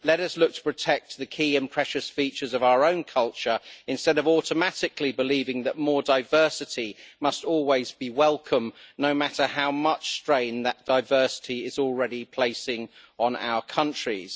Let us look to protect the key and precious features of our own culture instead of automatically believing that more diversity must always be welcome, no matter how much strain that diversity is already placing on our countries.